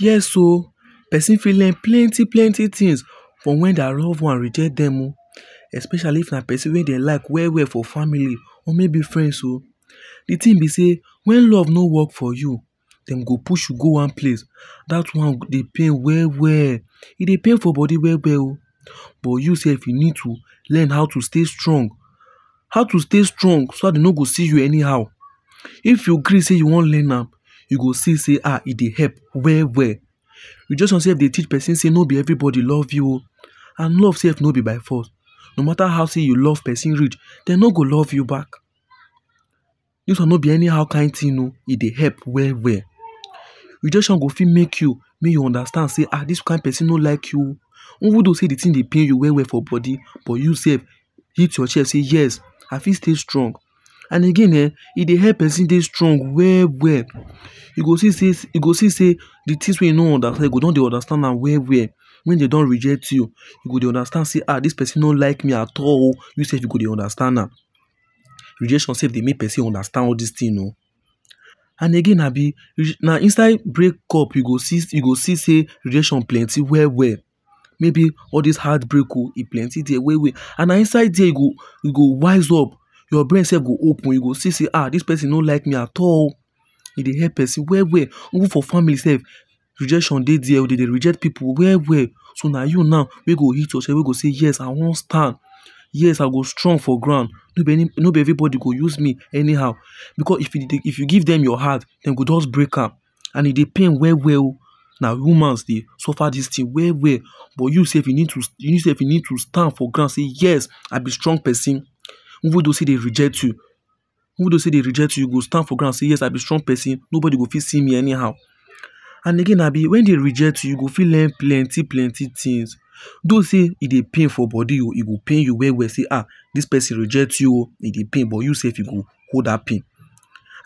Yes oh, person fit learn plenty plenty things for when their love ones reject them oh. Especially if na person wey dem like well well for family or maybe friends oh. The thing be sey, when love no work for you, dem go push you go one place. That one go dey pain well well, e dey pain for body well well oh. But yourself you slf need to learn how to stay strong. How to stay strong so that dem no go see you anyhow. If you gree sey you wan learn am you go see sey um e dey help well well. Rejection slf dey teach person sey no be everybody love you oh. And love self no be by force no mata how sey you love person reach, dem no go love you back This one no be anyhow kind thing oh. E dey help well well. Rejection go fit make you make you understand sey um this kind person no like you oh. Even though sey the thing dey pain you for body but you self hit chest say yes, I fit still stay strong. And again um e dey help person dey strong well well. E go see sey e go see sey the things wey you no understand you go come dey understand am well well when dem don reject you, you go dey understand sey um dis person no like me at all or you slf you go dey understand am. Rejection self dey make person dey understand all this thing oh. And again abi, na inside breakup you go see sey you go sey rejection plenty well well. Maybe all dis heart break oh, e plenty dere well well. And na inside there you go wise up. Your brain slf go open, you go see sey um this person no like me at all. E dey help person well well. Even for family self rejection dey there. Dey dey reject pipu well well. So na you now wey go hit chest wey go say yes I wan stand, yes I go strong for ground. No be every body go use me anyhow because if you give them your heart, dey go just break am and e dey pain well well oh. Na humans dey suffer this things well well oh but you sef you need to you send you need to stand for grand say yes, I be strong person even though sey dey reject you, even though sey dey reject you, you go stand for ground yes I be strong person no body go fit see me anyhow. And again abi, when dey reject you, you go fit learn plenty plenty things. Though sey e dey for body, e go pain you well well dey um this person reject you oh e dey pain but you sef you go hold that pain.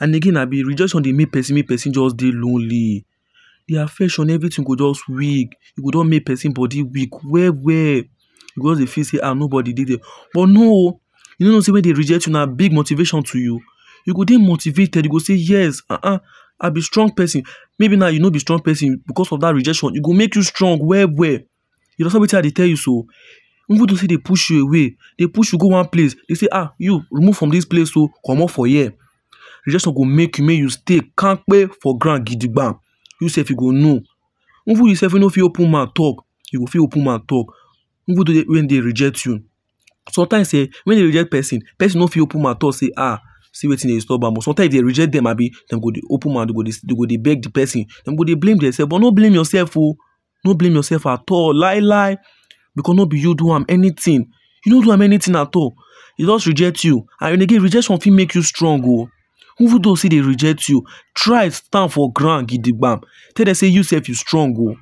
And again abi rejection dey make person make person just lonely. De affection everything go just weak you go just make make person body weak well well. You go just dey feel sey um nobody dey there, but no oh, you know sey when dey reject you na big motivation to you. You go dey motivated you go dey yes um I be strong person maybe now you no better strong person, because of dat rejection e go make you strong well well. You understand wetin I dey tell you so. Even dey still dey push you away, dey push you go one place, dey say um you move from dis place oh, comot for here, rejection go make you make you dey kampe for ground gigigba. You sef you go know. Even you sef we no fit open mouth talk you go fit open mouth talk. Even when dey reject you, sometimes um when dey reject person, person no fit open mouth talk dey um see wetin dey disturb am but sometimes e dey reject dem abi, dem go dey open mouth, dem go dey dem go dey beg dey person, dem go dey blame themselves. No blame yourself oh, no blame yourself at all lai lai! Because no be you do am anything, you no do am anything at all E just reject you. And again rejection fit make you strong oh. Even though sey dey reject you, try stand for ground gidigba tell dem sey you sef you strong oh.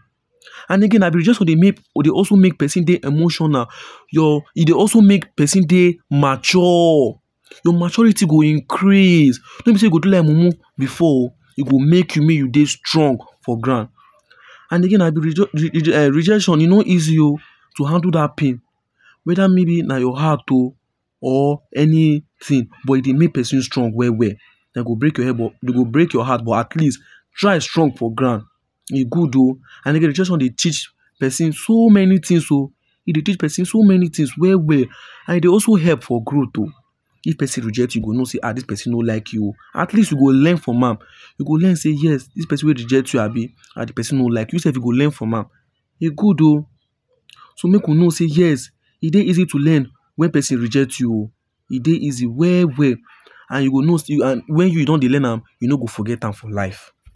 And again rejection dey also make person dey emotional. Your e dey also make person dey mature. Your maturity go increase; no be sey you go do like mumu before, e go make you, make you dey strong for ground. And again na rejection e no easy oh to handle dat pain whether maybe na your heart oh or anything but e dey make person strong well well. Dem go break your health, dem go break your heart but at least try strong for ground. E good oh and again rejection dey teach person so many things oh. E dey tech person so many things well well. And e dey also help for growth oh. If person reject you at least you go know sey um this person no like you oh at least you go learn from am. You go learn sey yes, this person wey reject you abi, na de person no like you. You sef you go learn from am. E good oh. So make we know sey yes, e dey easy to learn when person reject you oh. E dey easy well well and you go know sey and when you don dey learn am, you no go forget am for life.